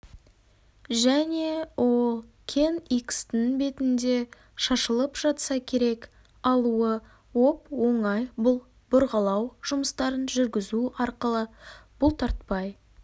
және ол кен икстің бетінде шашылып жатса керек алуы оп-оңай бұл бұрғылау жұмыстарын жүргізу арқылы бұлтартпай